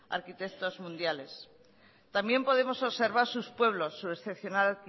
arquitectos mundiales también podemos observar sus pueblos su excepcional